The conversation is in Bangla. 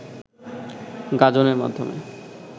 গাঁজনের মাধ্যমে